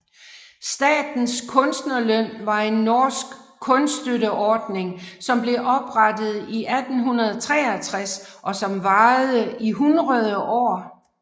Statens kunstnerlønn var en norsk kunststøtteordning som blev oprettet i 1863 og som varede i hundrede år